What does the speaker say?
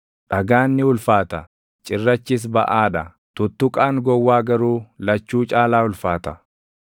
Dhagaan ni ulfaata; cirrachis baʼaa dha; tuttuqaan gowwaa garuu lachuu caalaa ulfaata.